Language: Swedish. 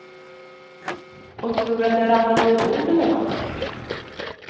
Och tror att jag ramlat överbord eller nåt.